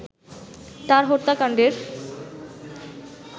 তার হত্যাকাণ্ডের